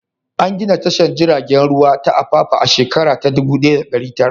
An gina tashar jiragen ruwa ta Apapa a shekara ta 1900.